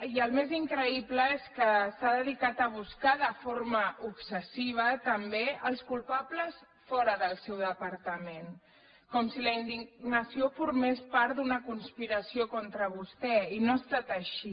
i el més increïble és que s’ha dedicat a buscar de forma obsessiva també els culpables fora del seu departament com si la indignació formés part d’una conspiració contra vostè i no ha estat així